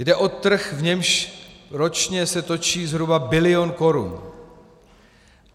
Jde o trh, v němž se ročně točí zhruba bilion korun.